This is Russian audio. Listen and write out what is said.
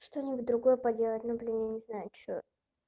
что-нибудь другое поделать ну блин я не знаю что